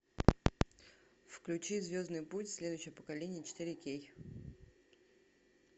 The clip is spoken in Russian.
включи звездный путь следующее поколение четыре кей